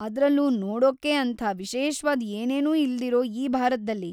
ಅದ್ರಲ್ಲೂ ನೋಡೋಕ್ಕೆ ಅಂಥ ವಿಶೇಷ್ವಾದ್ ಏನೇನೂ ಇಲ್ದಿರೋ ಈ ಭಾರತ್ದಲ್ಲಿ!